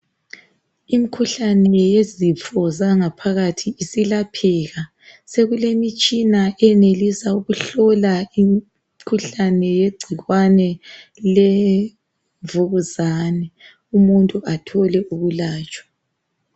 Imikhuhlane yezifo zangaphakathi silapheka. Sekulemitshina eyenelisa ukuhlola imikhuhlane yegcikwane lemvukuzane umuntu athole ukulatshwa.